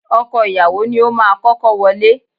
Ọkọ ìyàwó ni ó máa kọ́kọ́ wọlé.